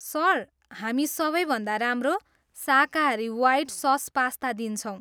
Sir, हामी सबैभन्दा राम्रो शाकाहारी वाइट सस पास्ता दिन्छौँ।